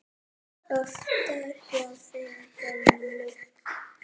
Oftar hjá þeim gömlu.